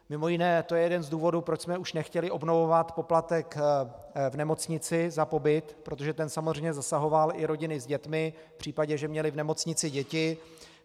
Mimo jiné to je jeden z důvodů, proč jsme už nechtěli obnovovat poplatek v nemocnici za pobyt, protože ten samozřejmě zasahoval i rodiny s dětmi v případě, že měly v nemocnici děti.